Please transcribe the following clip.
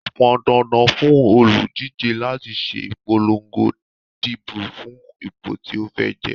Ó pọn dandan fún òlùdíje láti ṣe ìpolongo ìdìbò fún ipò tí ó fẹ́ jẹ.